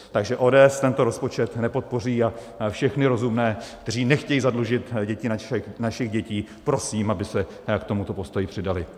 Takže ODS tento rozpočet nepodpoří a všechny rozumné, kteří nechtějí zadlužit děti našich dětí, prosím, aby se k tomuto postoji přidali.